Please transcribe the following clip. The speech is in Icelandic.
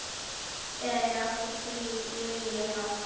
Þegar ég átti frí lifði ég hátt.